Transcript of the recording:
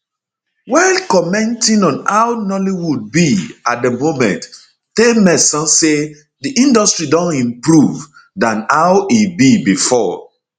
while commenting on how nollywood be at di moment taymesan say di industry don improve don improve dan how e be bifor